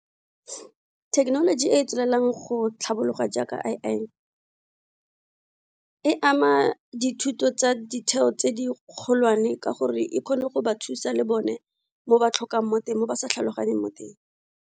Thekenoloji e e tswelelang go tlhabologa jaaka A_I e ama dithuto tsa ditheo tse di kgolwane ka gore e kgone go ba thusa le bone mo ba tlhokang mo teng, mo ba sa tlhaloganyeng mo teng.